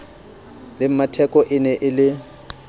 le mmatheko ene e le